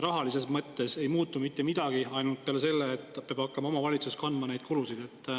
Rahalises mõttes ei muutu mitte midagi peale selle, et nüüd peab hakkama omavalitsus kandma neid kulusid.